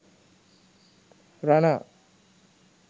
rana